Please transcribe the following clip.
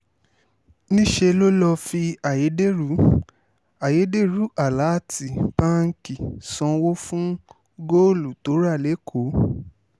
níṣẹ́ ló lọ́ọ́ fi ayédèrú ayédèrú aláàtì báǹkì sanwó fún góòlù tó rà lẹ́kọ̀ọ́